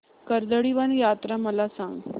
कर्दळीवन यात्रा मला सांग